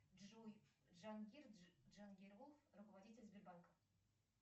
джой джангир джангиров руководитель сбербанка